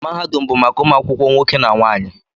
Mahadum bụ maka ụmụ akwụkwọ nwoke na nwaanyị